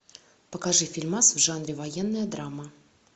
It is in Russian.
покажи фильмас в жанре военная драма